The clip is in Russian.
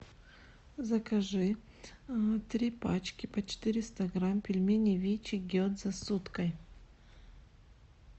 закажи три пачки по четыреста грамм пельменей вичи гедза с уткой